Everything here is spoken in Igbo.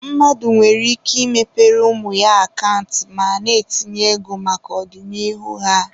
Mmadụ nwere ike ị mepere ụmụ ya akant ma na-etinye ego maka ọdịnihu ha.